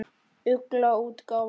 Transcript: Ugla útgáfa.